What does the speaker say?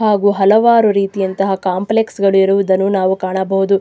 ಹಾಗು ಹಲವಾರು ರೀತಿಯಂತಹ ಕಾಂಪ್ಲೆಕ್ಸ್ ಗಳು ಇರುವುದನ್ನು ನಾವು ಕಾಣಬಹುದು.